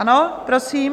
Ano, prosím?